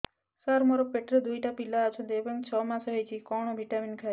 ସାର ମୋର ପେଟରେ ଦୁଇଟି ପିଲା ଅଛନ୍ତି ଏବେ ଛଅ ମାସ ହେଇଛି କଣ ଭିଟାମିନ ଖାଇବି